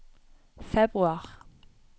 februar